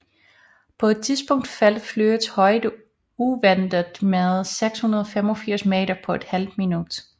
På et tidspunkt faldt flyets højde uventet med 685 meter på et halvt minut